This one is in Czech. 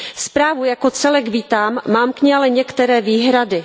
Zprávu jako celek vítám, mám k ní ale některé výhrady.